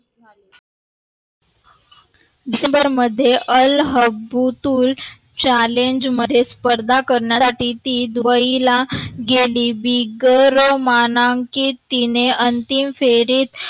डिसेंबर मध्ये el habbatulChallenge मध्ये स्पर्धा करणार द्वितीत दुबईला गेली. विगर मानांकित तिने अंतिम फेरीत.